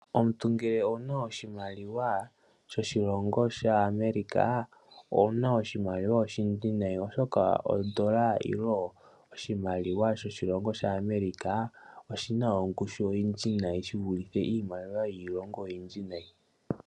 Omuntu ngele owuna oshimaliwa shoshilongo shaAmerica owuna oshimaliwa oshindji nayi, oshoka ondola oshimaliwa shoshilongo shaAmerica oshina ongushu oyindji nayi shi vulithe iimaliwa yiilongo oyindji nayi.